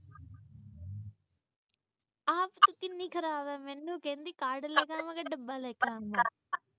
ਕਿੰਨੀ ਖਰਾਬ ਐ ਮੈਨੂੰ ਕਹਿੰਦੀ ਕਾਰਡ ਕਿ ਡੱਬਾ ਲੈ ਕੇ ਆਵਾ।